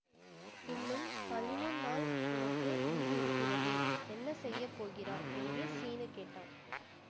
இன்னும் பதிமூ நாள் உனக்கு லீவு இருக்கிறதே என்ன செய்ய போகிறாய் என்று சீனு கேட்டான்